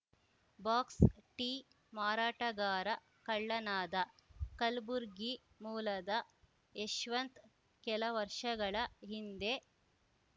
ಬಾಕ್ಸ್‌ಟೀ ಮಾರಾಟಗಾರ ಕಳ್ಳನಾದ ಕಲ್ಬುರ್ಗಿ ಮೂಲದ ಯಶ್ವಂತ್‌ ಕೆಲ ವರ್ಷಗಳ ಹಿಂದೆ